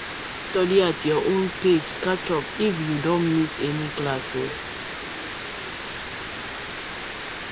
You fit study at your own pace catch up if you don miss any class.